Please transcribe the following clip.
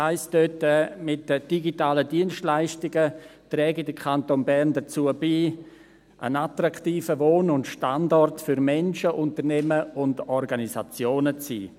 Dort heisst es, mit den digitalen Dienstleistungen trage der Kanton Bern dazu bei, einen attraktiven Wohn- und Standort für Menschen, Unternehmen und Organisationen zu sein.